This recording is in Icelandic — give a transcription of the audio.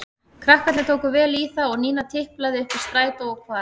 Krakkarnir tóku vel í það og Nína tiplaði upp í strætó og hvarf.